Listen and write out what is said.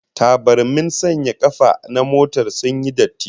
Tabarmin sanya kafa na motar sun yi datti